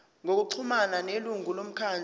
ngokuxhumana nelungu lomkhandlu